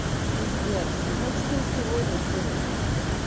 пиздец ну значит не сегодня хули